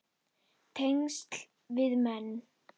Tengsl við menn